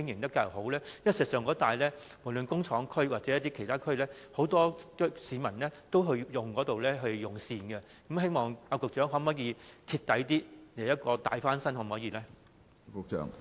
事實上，工廠區或其他地區的市民都會到該數個熟食市場用膳，局長會否在該等市場進行徹底大翻新工程？